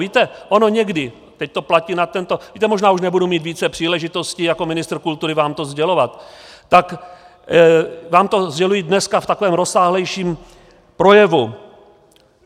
Víte, ono někdy, teď to platí na tento, víte, možná už nebudu mít více příležitostí jako ministr kultury vám to sdělovat, tak vám to sděluji dneska v takovém rozsáhlejším projevu.